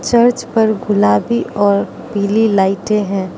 Church पर गुलाबी और पीली लाइटे है।